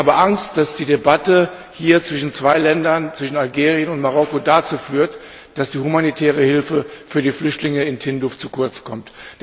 Ich habe Angst, dass die Debatte hier zwischen zwei Ländern zwischen Algerien und Marokko dazu führt, dass die humanitäre Hilfe für die Flüchtlinge in Tindouf zu kurz kommt.